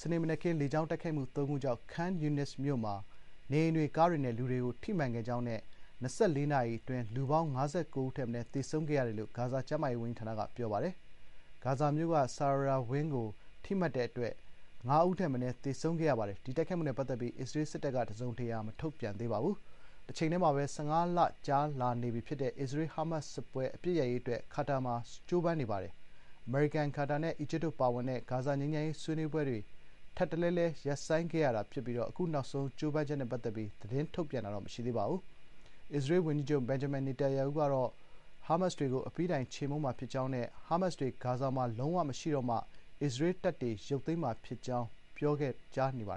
စနေမနက်ခင်း လေကြောင်း တိုက်ခိုက်မှု ၃ ခု ကြောင့် Khan Younis မြို့ မှာ နေအိမ်တွေ ကားတွေနဲ့ လူတွေကို ထိမှန်ခဲ့ကြောင်းနဲ့ ၂၄ နာရီအတွင်း လူပေါင်း ၅၉ ဦးထက်မနည်း သေဆုံးခဲ့ရတယ်လို့ ဂါဇာ ကျန်းမာရေးဝန်ကြီးဌာနက ပြောပါတယ်။ ဂါဇာမြို့က ဆာရာယာ ဝင်းကို ထိမှန်တဲ့အတွက် ၅ ဦး ထက်မနည်း သေဆုံးခဲ့ရပါတယ်။ ဒီတိုက်ခိုက်မှုနဲ့ ပတ်သက်ပြီး အစ္စရေး စစ်တပ်က တစုံတရာ မထုတ်ပြန်သေးပါဘူး။ တချိန်ထဲမှာပဲ ဂါဇာမှာ ၁၅ လ ကြာနေပြီဖြစ်တဲ့ အစ္စရေး- ဟားမတ်စ် စစ်ပွဲ အပစ်ရပ်ရေး အတွက် Qatar မှာ ကြိုးပမ်းနေပါတယ်။ အမေရိကန် - ကာတာနဲ့ အီဂျစ်တို့ ပါဝင်တဲ့ ဂါဇာ ငြိမ်းချမ်းရေး ဆွေးနွေးပွဲတွေ ထပ်တလဲလဲ ရပ်ဆိုင်းခဲ့ရတာ ဖြစ်ပြီး အခု နောက်ဆုံး ကြိုးပမ်းချက် နဲ့ပတ်သက်ပြီး သတင်းထုတ်ပြန်တာ မရှိသေးပါဘူး။ အစ္စရေး ဝန်ကြီးချုပ် Benjamin Netanyahu ကတော့ ဟားမတ်စ်တွေကို အပြီးတိုင် ခြေမှုန်းမှာ ဖြစ်ကြောင်းနဲ့ ဟားမတ်စ်တွေ ဂါဇာမှာ လုံးဝ မရှိတော့မှ အစ္စရေး တပ်တွေ ရုပ်သိမ်းမှာ ဖြစ်ကြောင်း ပြောကြားနေတာပါ